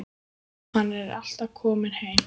Hann er alltaf að koma heim.